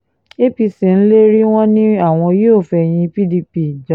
apc ń lérí wọn ni àwọn yóò fẹ̀yìn pdp janlẹ̀